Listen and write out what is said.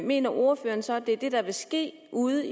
mener ordføreren så at det er det der vil ske ude